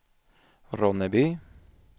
Ronneby